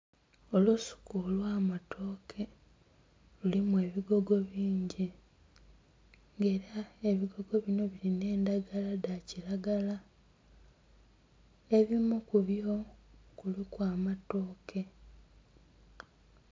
Olusuku olwa matooke lulimu ebigogo bingi era ebigogo bino birina endagala dha kiragala. Ebimu kubyo kuliku amatooke